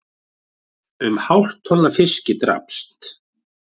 Um hálft tonn af fiski drapst